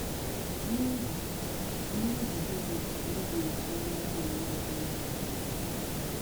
N’īhị N’īhị gị̣nī ka ị ga-eji nyè nwànyị ọ̀zọ̀ īhụ́nànya gị?